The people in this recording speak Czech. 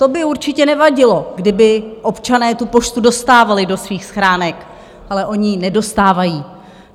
To by určitě nevadilo, kdyby občané tu poštu dostávali do svých schránek, ale oni ji nedostávají.